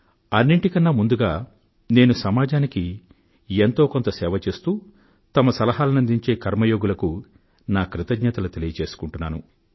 అన్నింటికన్నా ముందుగా నేను సమాజానికి ఎంతో కొంత సేవ చేస్తూ తమ సలహానందించే కర్మయోగులకు నా ధన్యవాదాలు తెలియజేసుకుంటున్నాను